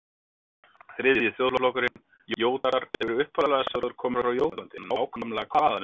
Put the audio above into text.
Þriðji þjóðflokkurinn, Jótar, er upphaflega sagður kominn frá Jótlandi en nákvæmlega hvaðan er umdeilt.